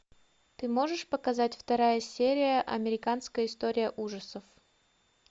ты можешь показать вторая серия американская история ужасов